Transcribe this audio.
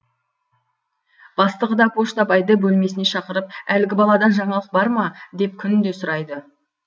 бастығы да поштабайды бөлмесіне шақырып әлгі баладан жаңалық бар ма деп күнде сұрайды